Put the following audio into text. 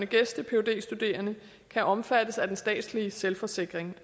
gæste phd studerende kan omfattes af den statslige selvforsikring